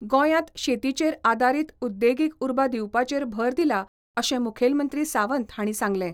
गोंयांत शेतीचेर आदारीत उद्देगीक उर्बा दिवपाचेर भर दिला अशें मुखेलमंत्री सावंत हांणी सांगलें.